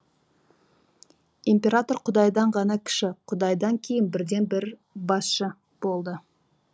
император құдайдан ғана кіші құдайдан кейінгі бірден бір басшы болды